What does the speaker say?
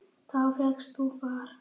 Þá fékkst þú far.